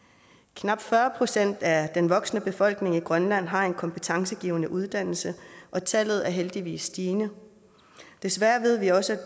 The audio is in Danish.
knap fyrre procent af den voksne befolkning i grønland har en kompetencegivende uddannelse og tallet er heldigvis stigende desværre ved vi også